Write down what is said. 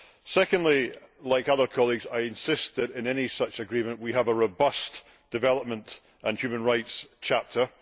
Secondly, like other colleagues, I insist that in any such agreement we have a robust development and human rights chapter.